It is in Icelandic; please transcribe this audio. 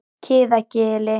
Kiðagili